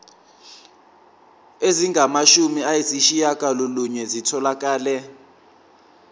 ezingamashumi ayishiyagalolunye zitholakele